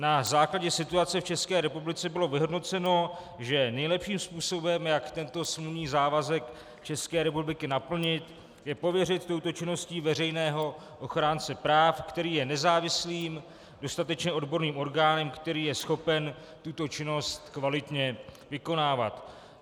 Na základě situace v České republice bylo vyhodnoceno, že nejlepším způsobem, jak tento smluvní závazek České republiky naplnit, je pověřit touto činností veřejného ochránce práv, který je nezávislým, dostatečně odborným orgánem, který je schopen tuto činnost kvalitně vykonávat.